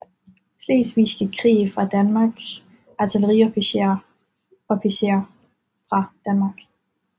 Slesvigske Krig fra Danmark Artilleriofficerer fra Danmark